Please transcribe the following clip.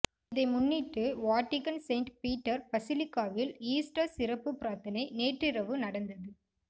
இதை முன்னிட்டு Vatican Saint Peter பசிலிகாவில் ஈஸ்டர் சிறப்பு பிரார்த்தனை நேற்றிரவு நடந்தது